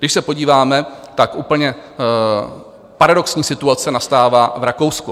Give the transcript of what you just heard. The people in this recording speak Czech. Když se podíváme, tak úplně paradoxní situace nastává v Rakousku.